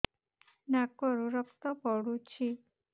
ନାକରୁ ରକ୍ତ ପଡୁଛି